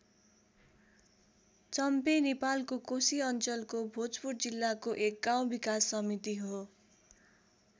चम्पे नेपालको कोशी अञ्चलको भोजपुर जिल्लाको एक गाउँ विकास समिति हो।